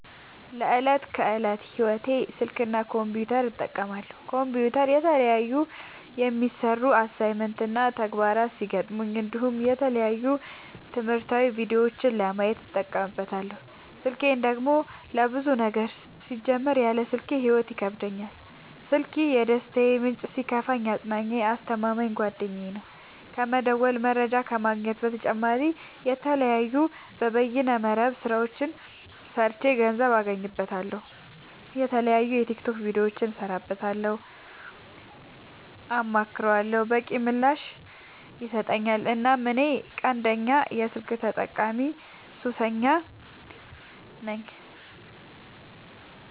ለዕት ከዕለት ህይወቴ ስልክ እና ኮምፒውተር እጠቀማለሁ። ኮምፒውተር የተለያዩ የሚሰሩ አሳይመንት እና ተግባራት ሲገጥሙኝ እንዲሁም የተለያዩ ትምህርታዊ ቪዲዮዎችን ለማየት እጠቀምበታለው። ስልኬን ደግሞ ለብዙ ነገር ሲጀመር ያለ ስልኬ ህይወት ይከብደኛል። ስልኪ የደስታዬ ምንጭ ሲከፋኝ አፅናኜ አስተማማኝ ጓደኛዬ ነው። ከመደወል መረጃ ከመግኘት በተጨማሪ የተለያዩ የበይነ መረብ ስራዎችን ሰርቼ ገንዘብ አገኝበታለሁ። የተለያዩ የቲክቶክ ቪዲዮዎችን እሰራበታለሁ አማክረዋለሁ። በቂ ምላሽ ይሰጠኛል እናም እኔ ቀንደኛ የስልክ ተጠቀሚና ሱሰኛም ነኝ።